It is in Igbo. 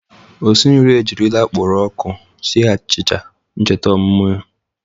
Osinri e jirila akpụrọ ọkụ sie achịcha ncheta ọmụmụ ya.